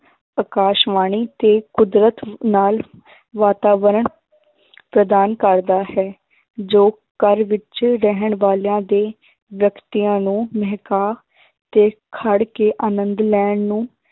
ਆਕਾਸ਼ਵਾਣੀ ਤੇ ਕੁਦਰਤ ਨਾਲ ਵਾਤਾਵਰਨ ਪ੍ਰਦਾਨ ਕਰਦਾ ਹੈ ਜੋ ਘਰ ਵਿੱਚ ਰਹਿਣ ਵਾਲਿਆਂ ਦੇ ਵਿਅਕਤੀਆਂ ਨੂੰ ਮਹਿਕਾ ਤੇ ਖੜ ਕੇ ਆਨੰਦ ਲੈਣ ਨੂੰ